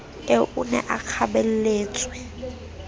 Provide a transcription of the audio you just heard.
eo o ne a kgabelletswe